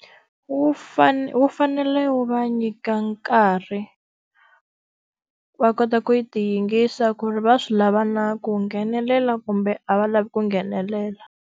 Wu fane wu fanele wu va nyika nkarhi, va kota ku ti yingisa ku ri va swi lava na ku nghenelela kumbe a va lavi ku nghenelela.